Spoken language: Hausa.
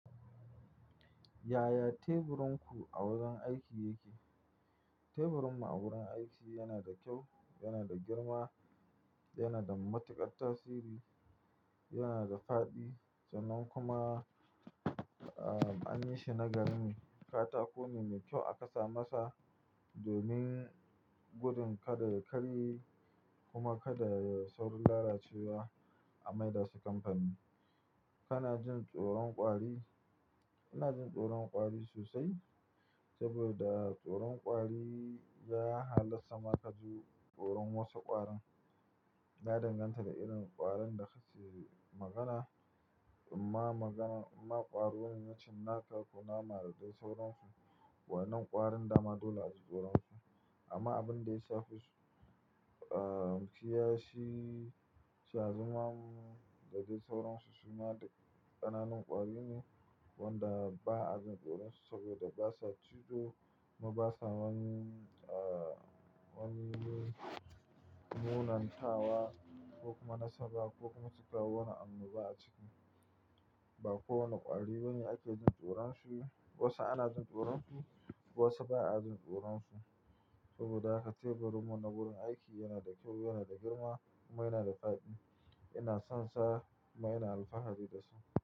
Yaya teburinku a wajen aiki yake? Teburinmu a wurin aiki yana da kyau, yana da girma, yana da matukar tasiri, yana da fadi sannan kuma, ah, an yi shi na garin katako ne mai kyau aka sa masa domin gudun kada ya karye kuma kada yai saurin lalacewa. An maida su kamfani. Kana jin tsoron ƙwari? Ina jin tsoron ƙwari sosai saboda tsoron ƙwari ya halasta ma ka ji tsoron wasu ƙwarin. Ya danganta da irin ƙwarin da suke magana. Amma magana, amma ƙwaro na cinnaka kunama da dai sauransu. Waɗannan ƙwarin dama dole a ji tsoron su. Amma abin da ya fi kusu, ah, shi sha zumamu da dai sauransu suma duk ƙananan ƙwari ne wanda ba a jin tsoron su saboda basa cizo kuma basa wani, ah, wani munantawa ko kuma nasaba ko kuma cika wannan annoba a ciki. Ba kowane ƙwari wani ake jin tsoron shi. Wasu ana jin tsoron su, wasu ba a jin tsoron su. Saboda haka teburin mu na wurin aiki yana da kyau, yana da girma kuma yana da fadi. Ina son sa kuma ina alfahari da su.